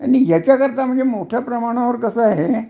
ह्याच्या करिता म्हणजे मोठ्या प्रमाणावर कस आहे